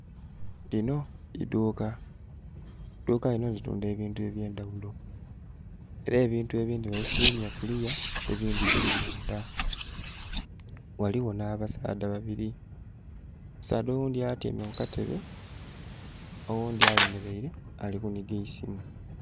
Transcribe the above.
Linho idhuka, eidhuka linho litunda ebintu eby'endaghulo. Ela ebintu ebindhi babifulwimya kuliya ebindhi bili mundha. Ghaligho nh'abasaadha babili, omusaadha oghundhi atyaime ku katebe, oghundhi ayemeleile ali kunhiga eisimu.